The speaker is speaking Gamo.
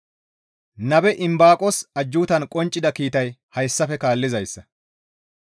Nabe Imbaaqos ajjuutan qonccida kiitay hayssafe kaallizayssa.